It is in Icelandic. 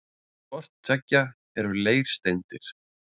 Hvort tveggja eru leirsteindir.